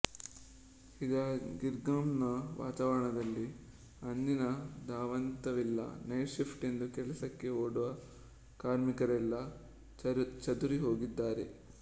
ಈಗ ಗಿರ್ಗಾಮ್ ನ ವಾತಾವರಣದಲ್ಲಿ ಅಂದಿನ ಧಾವಂತವಿಲ್ಲ ನೈಟ್ ಶಿಫ್ಟ್ ಎಂದು ಕೆಲಸಕ್ಕೆ ಓಡುವ ಕಾರ್ಮಿಕರೆಲ್ಲ ಚದುರಿಹೋಗಿದ್ದಾರೆ